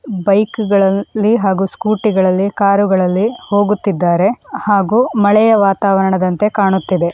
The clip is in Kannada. ಬೈಕ್ಗಳಲ್ಲಿ ಹಾಗೂ ಸ್ಕೂಟಿಗಳಲ್ಲಿ ಕಾರ್ಗಳಲ್ಲಿ ಹೋಗುತ್ತಿದ್ದಾರೆ ಹಾಗೂ ಮಳೆಯ ವಾತಾವರಣದಂತೆ ಕಾಣುತ್ತಿದೆ.